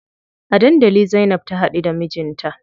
A dandali Zainab ta haɗu da mijinta.